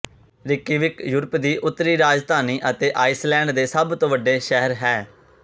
Reykjavik Europe ਦੀ ਉੱਤਰੀ ਰਾਜਧਾਨੀ ਅਤੇ ਆਈਸਲੈਂਡ ਦੇ ਸਭ ਤੋਂ ਵੱਡੇ ਸ਼ਹਿਰ ਹੈ